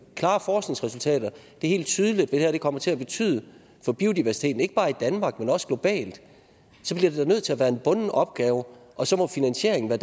klare forskningsresultater der helt tydeligt det her kommer til at betyde for biodiversiteten ikke bare i danmark men også globalt så bliver vi da nødt til at være en bunden opgave og så må finansieringen være